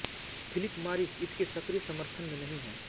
Philip Morris इसके सक्रिय समर्थन में नहीं है